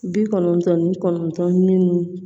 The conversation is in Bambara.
Bi kɔnɔntɔn ni kɔnɔntɔn minnu